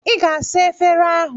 Ị ga-asa efere ahụ.